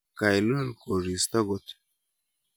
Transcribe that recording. Kailul koristo kot.